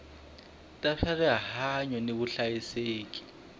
ta swa rihanyu ni vuhlayiseki